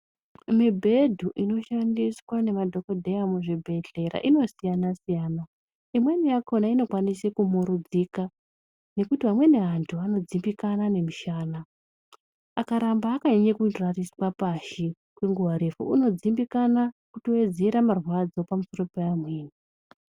Mibhedhu inoshandiswa nemadhokodheya muzvibhehleya inosiyanasiyana imweni yakona inokwanise kumurudzika nekuti amweni anhu anodzimbikana nemushana akaramba akanyanya kurariswe pashi kwenguva refu unodzimbikana kutowedzera marwadzo pamusoro peamweni